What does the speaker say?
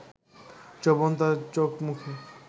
যৌবন তাঁর চোখ-মুখে